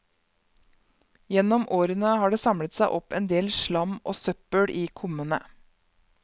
Gjennom årene har det samlet seg opp en del slam og søppel i kummene.